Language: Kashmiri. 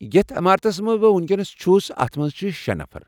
یتھ عمارتس منٛز بہٕ ؤنکینس چُھس، اتھ منٛز چھ شٚے نفر۔